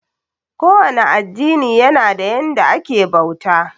Ko wane addini yana da yanda ake bauta.